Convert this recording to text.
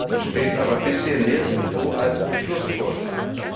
Dies steht aber bisher nirgendwo als Beschlussvorschlag